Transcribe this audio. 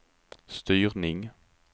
styrning